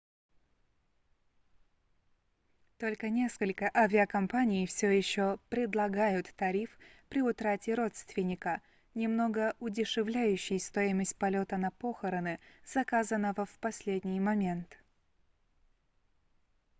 только несколько авиакомпаний всё еще предлагают тариф при утрате родственника немного удешевляющий стоимость полёта на похороны заказанного в последний момент